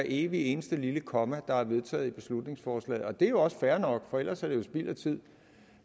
evig eneste lille komma der er vedtaget i beslutningsforslaget det er jo også fair nok for ellers er det jo spild af tid